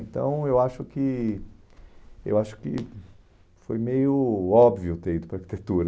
Então, eu acho que eu acho que foi meio óbvio ter ido para arquitetura.